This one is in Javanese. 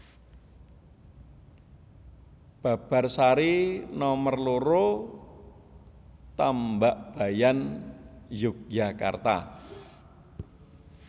Babarsari Nomer loro Tambakbayan Yogyakarta